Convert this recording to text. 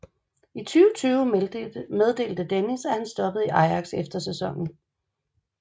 I 2020 meddelte Dennis at han stoppede i Ajax efter sæsonen